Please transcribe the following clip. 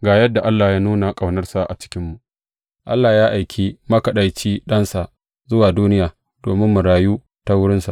Ga yadda Allah ya nuna ƙaunarsa a cikinmu, Allah ya aiki makaɗaici Ɗansa zuwa duniya domin mu rayu ta wurinsa.